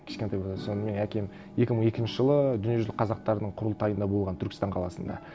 кішкентай болғанда соны менің әкем екі мың екінші жылы дүниежүзілік қазақтарының құрылтайында болған түркістан қаласында